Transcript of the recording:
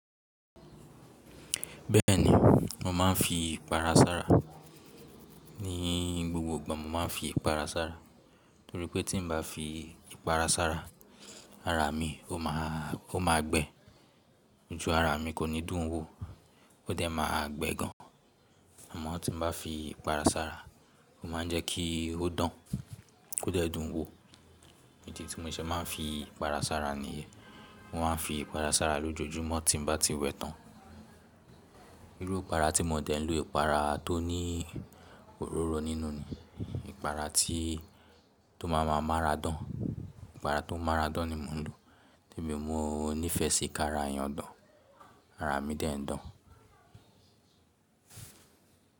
Bẹ́ẹ̀ ni, mo máa ń fi ìpara sára. Ní gbogbo ìgbà mo máa ń fi ìpara sára, torí pé tí n ba fi ìpara sára, ara mi ó ma gbe. Nítorí ara mi kò ní dùn wò ó dé ma gbẹ gan. Àmọ́ tí n bá fi ìpara sára, ó ma ń jẹ́ kí ó dùn, kó dẹ́ẹ̀ dùn wò. Ìdí ti mo ṣe maa n fi ipara sára nìyẹn, mo máa n fi ipara sára lojoojumọ ti mo ba ti wẹ tan. Irú ìpara tí mo dẹ́ ń lo ìpara tó ní òróró nínú ni ìpara tí tó máa ma marà dán. Ìpara tó márà dán ni mo ń lo, torí mò nífẹ sí kára èèyàn dán, ara mi dẹ́ ń dán.